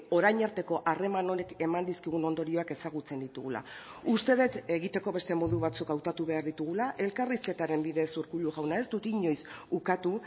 orain arteko harreman honek eman dizkigun ondorioak ezagutzen ditugula uste dut egiteko beste modu batzuk hautatu behar ditugula elkarrizketaren bidez urkullu jauna ez dut inoiz ukatu